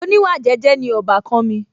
oníwà jẹ́jẹ́ ni ọbàkan mi